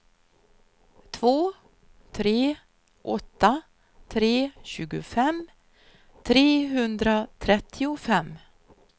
två tre åtta tre tjugofem trehundratrettiofem